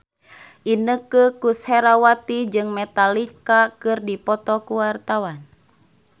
Inneke Koesherawati jeung Metallica keur dipoto ku wartawan